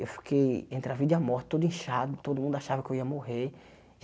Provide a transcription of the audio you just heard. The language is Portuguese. Eu fiquei entre a vida e a morte, todo inchado, todo mundo achava que eu ia morrer.